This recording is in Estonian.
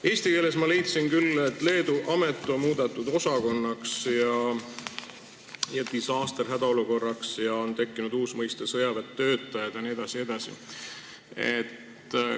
Eestikeelsest tekstist ma leidsin, et Leedu amet on muudetud osakonnaks, disaster hädaolukorraks, on tekkinud uus mõiste "sõjaväetöötajad" jne, jne.